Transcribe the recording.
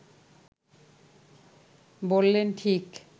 বললেন, ঠিক